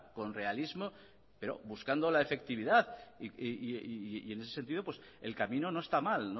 con realismo pero buscando la efectividad y en ese sentido el camino no está mal